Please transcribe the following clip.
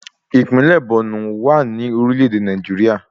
Ìpínlẹ̀ Bọ̀nú wà ní orílẹ̀ èdè Nàìjíríà